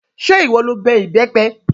Ṣé ìwọ lo ká ìbẹ́pẹ?